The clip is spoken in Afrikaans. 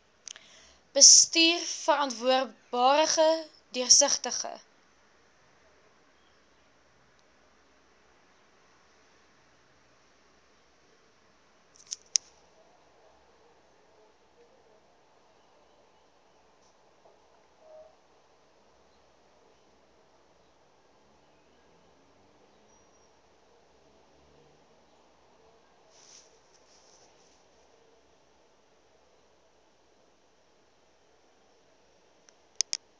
bestuur verantwoordbare deursigtige